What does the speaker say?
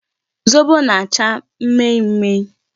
Zobo na-acha mmemme.